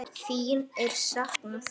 Þín er saknað.